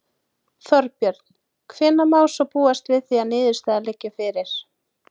Þorbjörn: Hvenær má svo búast við því að niðurstaða liggi fyrir?